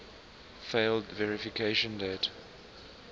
failed verification date